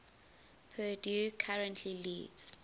purdue currently leads